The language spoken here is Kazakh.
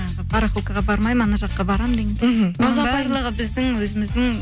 жаңағы барахолкаға бармаймын ана жаққа барамын деген біздің өзіміздің